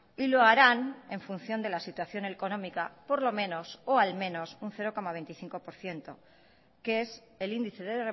y lo harán en función de la situación económica por lo menos o al menos un cero coma veinticinco por ciento que es el índice de